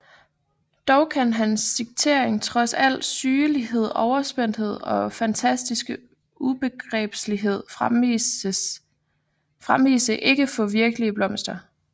Dog kan hans digtning trods al sygelig overspændthed og fantastisk ubegribelighed fremvise ikke få virkelige blomster